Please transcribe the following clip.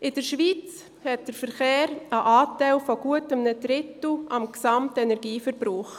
In der Schweiz hat der Verkehr einen Anteil von gut einem Drittel am gesamten Energieverbrauch.